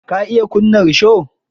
Ka iya kunna risho?